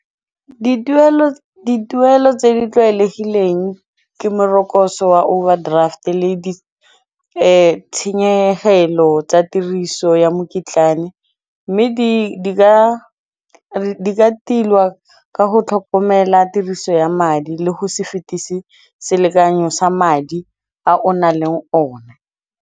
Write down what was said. Dituelo tse di tlwaelegileng ke morokotso wa overdraft le di tshenyegelo tsa tiriso ya mokitlane mme di ka tilwa ka go tlhokomela tiriso ya madi le go se fetisi selekanyo sa madi a o nang le one.